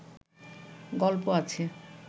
গল্প আছে